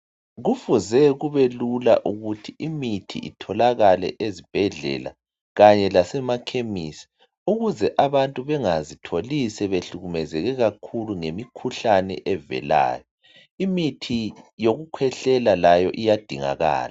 Kufuze kube lula ukuthi imithi itholakale ezibhedlela kanye lasemakhemisi ukuze abantu bengazitholi sebehlukumezeke kakhulu ngemikhuhlane evelayo imithi yokukhwehlela layo iyadingakala.